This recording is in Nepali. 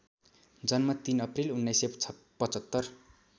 जन्म ३ अप्रिल १९७५